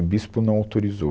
O bispo não autorizou.